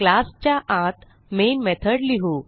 क्लासच्या आत main method लिहू